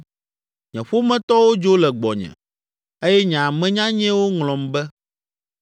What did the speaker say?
Nye ƒometɔwo dzo le gbɔnye eye nye ame nyanyɛwo ŋlɔm be.